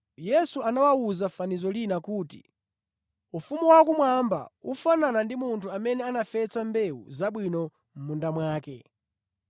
Yesu anawawuza fanizo lina kuti: “Ufumu wakumwamba ufanana ndi munthu amene anafesa mbewu zabwino mʼmunda mwake.